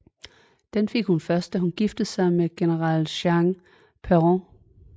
Den fik hun først da hun giftede sig med General Juan Perón